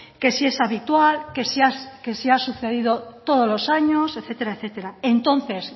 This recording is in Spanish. que si es habitual que si ha sucedido todo los años etcétera entonces